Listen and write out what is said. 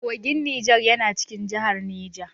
Kogin Niger yana cikin jihar Neja.